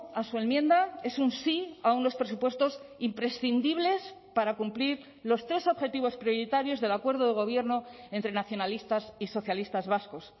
a su enmienda es un sí a unos presupuestos imprescindibles para cumplir los tres objetivos prioritarios del acuerdo de gobierno entre nacionalistas y socialistas vascos